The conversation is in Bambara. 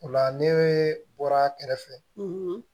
O la ne bɔra a kɛrɛfɛ